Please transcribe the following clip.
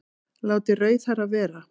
Látið rauðhærða vera